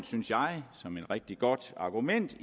synes jeg rigtig godt argument